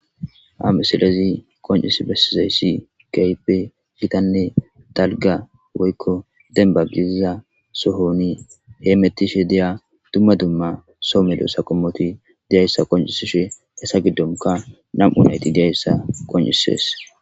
Ha meselezi qoncis bessizayssi gayipe gitanne dalga woykko denba giiza sohoni he mettishe deya dumma dumma soomedo saqomoti deyayssa qoncisishe hesa giddonka nam7u nayti deayssa qoncisees.